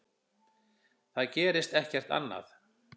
Það gerist ekkert annað.